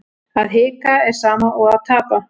Að hika er sama og að tapa